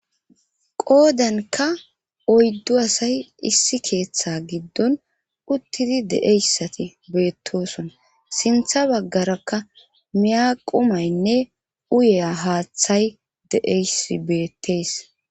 Qoodanka oyddu asay issi keeththa giddon uttidi de7eyssati beettosona sintha baggarakka miyaqumaynne uye haaththay deeys beettees.